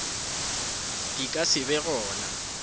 di ka se be gona